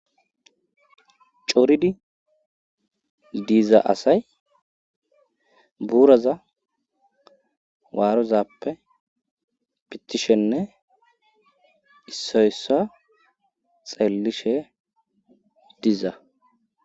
coridi diza asay buuraza waarozappe pitishenne issoyssa xeellishe diza